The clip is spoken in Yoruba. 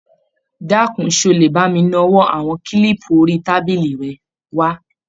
Dákun, ṣé o lè bá mi nawọ́ àwọn kílípù orí tábìlì rẹ wá?